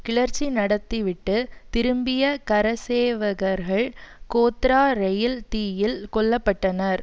கிளர்ச்சி நடத்தி விட்டு திரும்பிய கரசேவகர்கள் கோத்ரா ரயில் தீயில் கொல்ல பட்டனர்